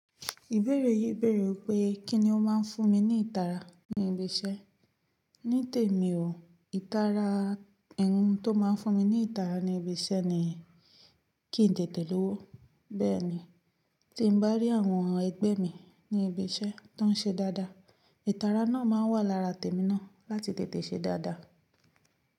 Ìbéèrè yìí béèrè wípé kí ni ó máa ń fún mi ní ìtara ní ibi iṣẹ́? Ní tèmi o, ìtara ihun tó máa ń fún mi ní ìtara ní ibi iṣẹ́ ni kí n tètè lówó. Bẹ́ẹ̀ ni, tí n bá rí àwọn ẹgbẹ́ mi ní ibi iṣẹ́ tó ń ṣe dáadáa, ìtara náà máa wà lára tèmi náà láti tètè ṣe dáadáa.